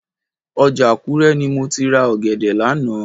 Ọjà Àkúrẹ́ ni mo ti ra ọ̀gẹ̀dẹ̀ lánàá